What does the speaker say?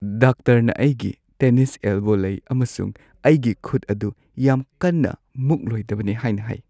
ꯗꯣꯛꯇꯔꯅ ꯑꯩꯒꯤ tennis elbow ꯂꯩ ꯑꯃꯁꯨꯡ ꯑꯩꯒꯤ ꯈꯨꯠ ꯑꯗꯨ ꯌꯥꯝ ꯀꯟꯅ ꯃꯨꯛꯂꯣꯏꯗꯕꯅꯤ ꯍꯥꯏꯅ ꯍꯥꯏ ꯫